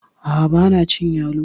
A'a banacin yalo